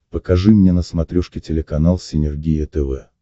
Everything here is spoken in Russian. покажи мне на смотрешке телеканал синергия тв